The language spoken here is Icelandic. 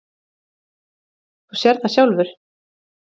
Þú sérð það sjálfur.